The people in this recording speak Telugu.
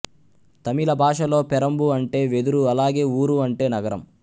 తమిళ భాషలో పెరంబు అంటే వెదురు అలాగే ఊరు అంటే నగరం